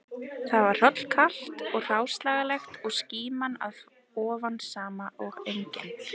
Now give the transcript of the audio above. Þar var hrollkalt og hráslagalegt og skíman að ofan sama og engin